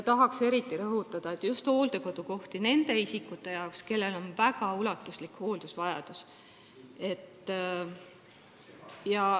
Tahaks eriti rõhutada, et ei ole hooldekodukohti just nende isikute jaoks, kellel on väga ulatuslik hooldusvajadus.